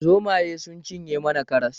Zomaye sun cinye mana karas